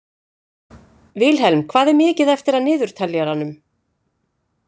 Vilhelm, hvað er mikið eftir af niðurteljaranum?